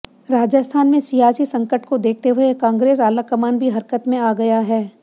राजस्थान में सियासी संकट को देखते हुए कांग्रेस आलाकमान भी हरकत में आ गया है